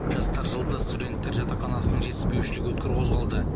жастар жылында студентер жатақханасының жетіспеушілігі өткір қозғалды